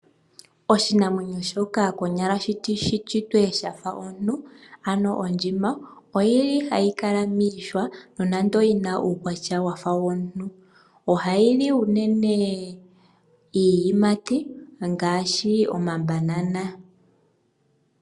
Oshinamwenyo shoka konyala shi shitwe shafa omuntu ano ondjima oyili hayi kala miihwa nonando yina uukwatya wafa womuntu. Ohayi li unene iiyimati ngaashi omabanana.